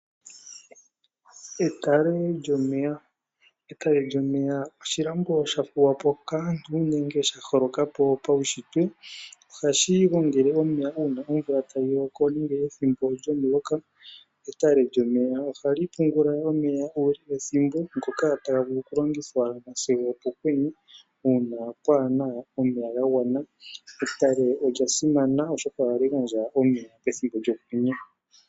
Etale lyomeya oshilambo shafulwa po kaantu nenge shaholokapo paunshitwe. Ohashi gongele omeya pethimbo uuna uuna omvula tayi loko nenge pethimbo lyomuloka . Etale lyomeya ohali pungula omeya uule wethimbo ngoka okulongithwa sigo opokwenye uuna pwaana omeya gagwana. Etale oyasimana oshoka ohali gandja omeya pethimbo lyokwenye.